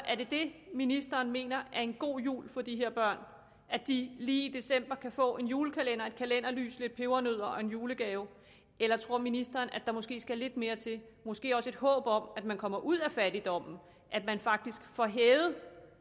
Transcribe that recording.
er det ministeren mener er en god jul for de her børn at de lige i december kan få en julekalender et kalenderlys lidt pebernødder og en julegave eller tror ministeren at der måske skal lidt mere til måske også et håb om at man kommer ud af fattigdommen at man faktisk får hævet